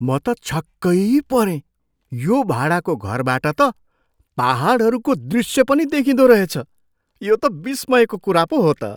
म त छक्कै परेँ यो भाडाको घरबाट त पाहाडहरूको दृश्य पनि देखिँदो रहेछ। यो त विस्मयको कुरा पो हो त!